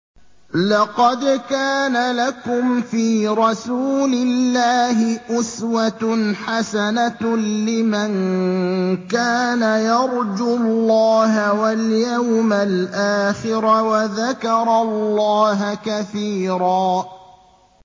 لَّقَدْ كَانَ لَكُمْ فِي رَسُولِ اللَّهِ أُسْوَةٌ حَسَنَةٌ لِّمَن كَانَ يَرْجُو اللَّهَ وَالْيَوْمَ الْآخِرَ وَذَكَرَ اللَّهَ كَثِيرًا